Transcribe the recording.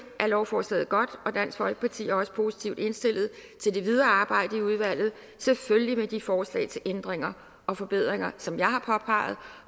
er lovforslaget godt og dansk folkeparti er også positivt indstillet til det videre arbejde i udvalget selvfølgelig med de forslag til ændringer og forbedringer som jeg har påpeget